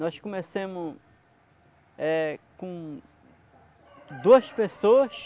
Nós começamos é com duas pessoas.